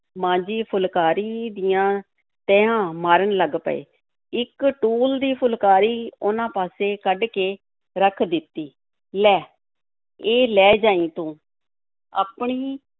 ਮਾਂ ਜੀ ਫੁਲਕਾਰੀਆਂ ਦੀਆਂ ਤਹਿਆਂ ਮਾਰਨ ਲੱਗ ਪਏ, ਇੱਕ ਟੂਲ ਦੀ ਫੁਲਕਾਰੀ ਉਹਨਾਂ ਪਾਸੇ ਕੱਢ ਕੇ ਰੱਖ ਦਿੱਤੀ, ਲੈ ਇਹ ਲੈ ਜਾਈਂ ਤੂੰ, ਆਪਣੀ